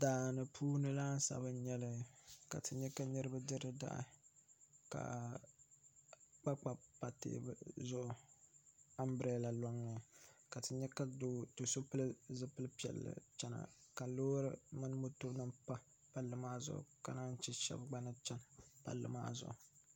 Daani puuni laasabu n nyɛli ka ti nyɛ ka niraba diri dahi ka kpakpa pa teebuli zuɣu anbirɛla loŋni ka ti nyɛ ka do so pili zipili piɛlli chɛna ka loori nim mini moto nim pa palli maa zuɣu ka naan chɛ shab gba ni chɛni palli maa zuɣu